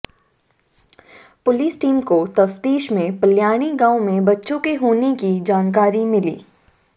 police team को तफ्तीश में प्लयाणी गांव में बच्चों के होने की जानकारी मिली